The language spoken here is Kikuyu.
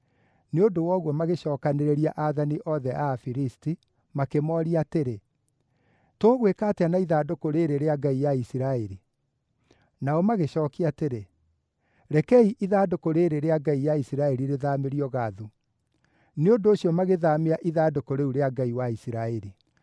Nĩ ũndũ wa ũguo magĩcookanĩrĩria aathani othe a Afilisti, makĩmooria atĩrĩ, “Tũgwĩka atĩa na ithandũkũ rĩĩrĩ rĩa ngai ya Isiraeli?” Nao magĩcookia atĩrĩ, “Rekei ithandũkũ rĩĩrĩ rĩa ngai ya Isiraeli rĩthaamĩrio Gathu.” Nĩ ũndũ ũcio magĩthaamia ithandũkũ rĩu rĩa Ngai wa Isiraeli.